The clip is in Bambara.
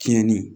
Tiɲɛni